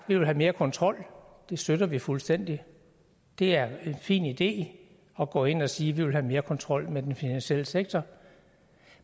vi vil have mere kontrol det støtter vi fuldstændig det er en fin idé at gå ind og sige vi vil have mere kontrol med den finansielle sektor